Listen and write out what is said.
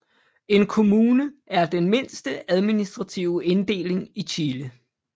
En kommune er den mindste administrative inddeling i Chile